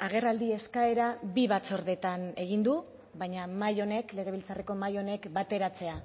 agerraldi eskaera bi batzordeetan egin du baina mahai honek legebiltzarreko mahai honek bateratzea